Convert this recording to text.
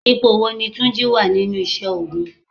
Ipò wo ni túnjí wá nínú isẹ́ ogun?